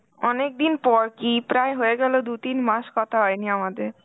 অনেকদিন পর কী প্রায় হয়ে গেল দু-তিন মাস কথা হয়নি আমাদের.